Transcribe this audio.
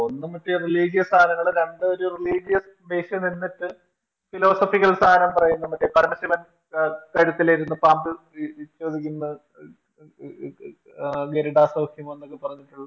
ഒന്ന് മറ്റേ Religious സാധനങ്ങൾ രണ്ടു ഒരു Religious Base ൽ നിന്നിട്ട് Philosophical സാരം പറയുന്ന മറ്റേ പരമശിവൻ കഴുത്തിലിരുന്നു പാമ്പിൽ ചൊരിയുന്ന ഗരുഡാ സ്വൈക്യം എന്നൊക്കെ പറഞ്ഞിട്ടുള്ള